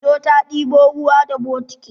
Indo ta ɗebo ruwan da bokiti.